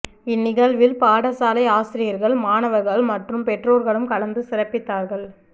இன் நிகழ்வில் பாடசாலை ஆசிரியர்கள் மாணவர்கள் மற்றும் பெற்றோர்களும் கலந்து சிறப்பித்தார்கள்